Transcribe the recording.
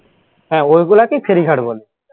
হ্যাঁ ঐগুলাকেই ফেরীঘাট বলে